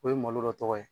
O ye malo dɔ tɔgɔ ye